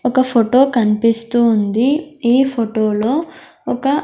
ఒక ఫోటో కనిపిస్తూ ఉంది ఈ ఫోటోలో ఒక.